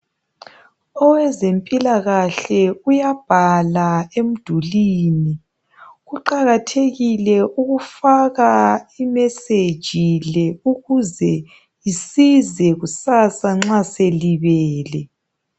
Owezempilakahle uyabhala emdulini, kuqakathekile ukufaka imeseji le ukuze isize kusasa nxa selibele.